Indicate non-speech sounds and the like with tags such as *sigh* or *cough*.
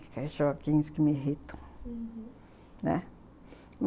*unintelligible* que me irritam, uhum, né.